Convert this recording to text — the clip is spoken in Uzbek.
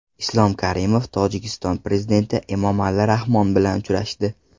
Islom Karimov Tojikiston prezidenti Emomali Rahmon bilan uchrashdi.